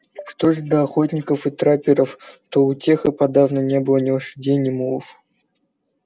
что же до охотников и трапперов то у тех и подавно не было ни лошадей ни мулов